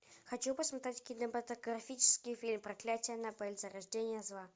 хочу посмотреть кинематографический фильм проклятие аннабель зарождение зла